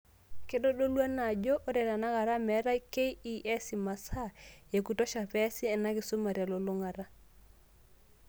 Keitodulu ena ajo, ore tenakata meeta KEC imasaa ekutosha peasi ena kisuma telulung'ata.